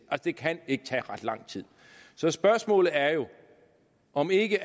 det kan ikke tage ret lang tid så spørgsmålet er jo om ikke